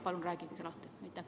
Palun rääkige lahti!